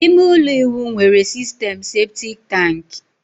ime ụlọ ịwụ nwere sistem septic tank